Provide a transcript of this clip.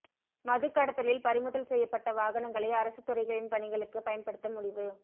மதுக் கடத்தலில் பறிமுதல் செய்யப்பட்ட வாகனங்களை அரசுத் துறைகளின் பணிகளுக்கு பயன்படுத்த முடிவு